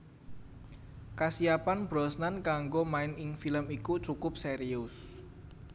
Kasiapan Brosnan kanggo main ing film iku cukup serius